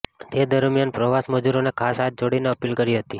તે દરમ્યાન પ્રવાસી મજૂરોને ખાસ હાથ જોડીને આપીલ કરી હતી